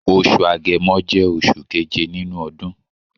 Osù Agẹmọ jẹ́ oṣù keje nínú ọdún.